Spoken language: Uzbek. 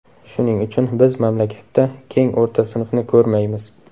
Shuning uchun biz mamlakatda keng o‘rta sinfni ko‘rmaymiz.